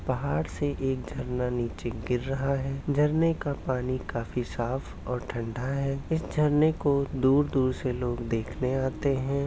पहाड़ से एक झरना नीचे गिर रहा है झरने का पानी काफी साफ़ और ठंडा है इस झरने को दूर दूर से लोग देखने आते है।